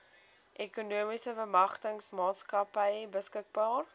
ekonomiese bemagtigingsmaatskappy beskikbaar